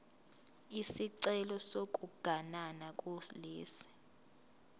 isicelo sokuganana kulesi